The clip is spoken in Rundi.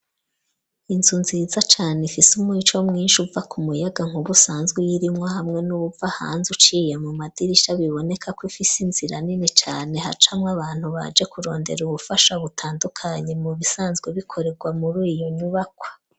izu nziza cane ifise umuco mwinshi uva ku muyaga nkubusanzwe y'irimwa hamwe n'ubuva hanze uciye mu madirisha biboneka ko ifise inzira nini cane hacamwa abantu baje kurondera ubufasha butandukanyi mu bisanzwe bikorerwa muri uyo nyubakwa.